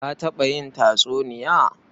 Ka taɓa yin tatsuniya?